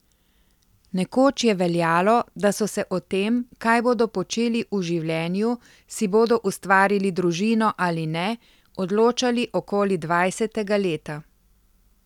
Nekoč je veljalo, da so se o tem, kaj bodo počeli v življenju, si bodo ustvarili družino ali ne, odločali okoli dvajsetega leta.